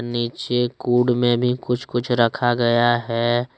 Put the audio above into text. नीचे कुढ़ में भी कुछ कुछ रखा गया है।